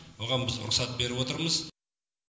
оған біз рұқсат беріп отырмыз